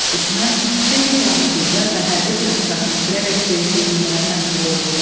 Düşmən xeyli canlı qüvvə və hərbi texnikasını itirərək geri çəkilməyə məcbur oldu.